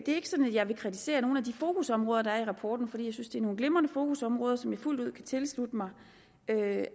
jeg vil kritisere nogle af de fokusområder der er i rapporten for jeg synes det er nogle glimrende fokusområder som jeg fuldt ud kan tilslutte mig